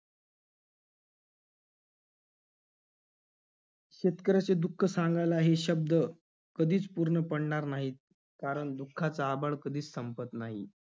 शेतकऱ्याचे दुःख सांगायला हे शब्द कधीच पूर्ण पडणार नाहीत, कारण दुःखाचा आभाळ कधीच संपत नाही.